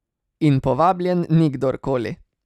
In povabljen ni kdorkoli.